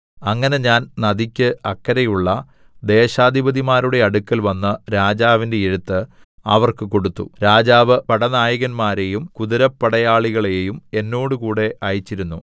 അങ്ങനെ ഞാൻ നദിക്ക് അക്കരെയുള്ള ദേശാധിപതിമാരുടെ അടുക്കൽവന്ന് രാജാവിന്റെ എഴുത്ത് അവർക്ക് കൊടുത്തു രാജാവ് പടനായകന്മാരെയും കുതിരപ്പടയാളികളേയും എന്നോടുകൂടെ അയച്ചിരുന്നു